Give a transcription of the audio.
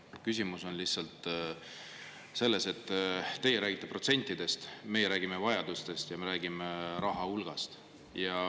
Küsimus on lihtsalt selles, et teie räägite protsentidest, aga meie räägime vajadustest ja raha hulgast.